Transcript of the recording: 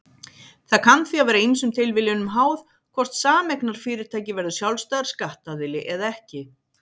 Það kann því að vera ýmsum tilviljunum háð hvort sameignarfyrirtæki verður sjálfstæður skattaðili eða ekki.